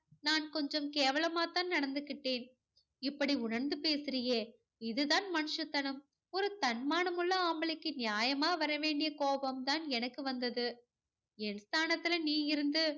நான் கொஞ்சம் கொஞ்சம் கேவலமா தான் நடந்துகிட்டேன். இப்படி உணர்ந்து பேசுறியே இதுதான் மனுஷத்தனம். ஒரு தன்மானம் உள்ள ஆம்பளைக்கு நியாயமா வரவேண்டிய கோபம் தான் எனக்கு வந்தது. என் ஸ்தானத்தில நீ இருந்து